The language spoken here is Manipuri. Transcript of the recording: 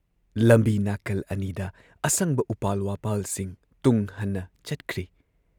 ꯂꯝꯕꯤ ꯅꯥꯀꯜ ꯑꯅꯤꯗ ꯑꯁꯪꯕ ꯎꯄꯥꯜ ꯋꯥꯄꯥꯜꯁꯤꯡ ꯇꯨꯡ ꯍꯟꯅ ꯆꯠꯈ꯭ꯔꯤ ꯫